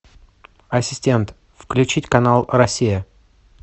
ассистент включить канал россия